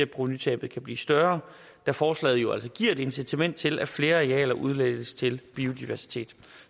provenutabet blive større da forslaget jo altså giver et incitament til at flere arealer udlægges til biodiversitet